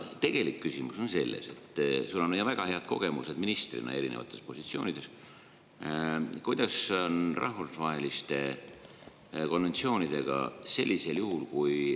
Tegelik küsimus on selles – sul on väga head kogemused ministrina erinevates positsioonides –, et kuidas on rahvusvaheliste konventsioonidega sellisel juhul, kui …